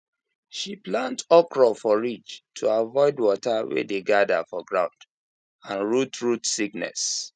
she plant okra for ridge to avoid water wey dey gather for ground and root root sickness